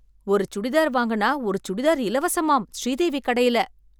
ஒரு சுடிதார் வாங்குனா ஒரு சுடிதார் இலவசமாம் ஸ்ரீதேவி கடையில!